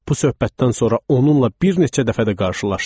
Bu söhbətdən sonra onunla bir neçə dəfə də qarşılaşdım.